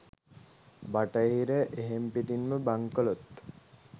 බටහිර එහෙම්පිටින්ම බංකොලොත්.